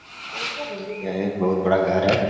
यह एक बहुत बड़ा घर है।